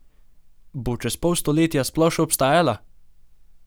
Bo čez pol stoletja sploh še obstajala?